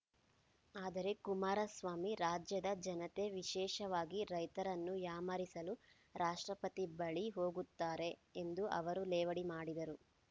ಆದರೆ ಕುಮಾರಸ್ವಾಮಿ ರಾಜ್ಯದ ಜನತೆ ವಿಶೇಷವಾಗಿ ರೈತರನ್ನು ಯಾಮಾರಿಸಲು ರಾಷ್ಟ್ರಪತಿ ಬಳಿ ಹೋಗುತ್ತಾರೆ ಎಂದು ಅವರು ಲೇವಡಿ ಮಾಡಿದರು